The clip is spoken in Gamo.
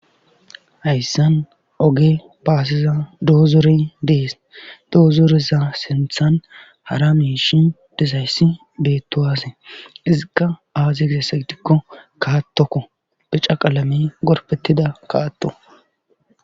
Hayssan oge baasiza doozore dees doozoreza sinthan hara miishi disayssi beettowazee izikka aaziy gizesagitikko kaattokko pica qaalame gorfettida kaatto.